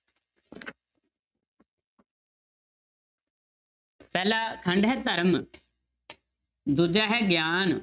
ਪਹਿਲਾ ਖੰਡ ਹੈ ਧਰਮ ਦੂਜਾ ਹੈ ਗਿਆਨ।